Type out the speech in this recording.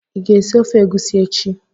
ị ga-esi ofe egusi echi?